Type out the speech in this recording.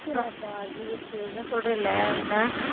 GH அதான் சொல்றேல்ல என்ன